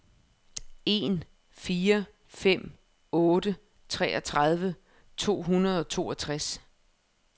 en fire fem otte treogtredive to hundrede og toogtres